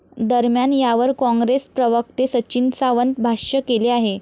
दरम्यान, यावर कॉंग्रेस प्रवक्ते सचिन सावंत भाष्य केले आहे.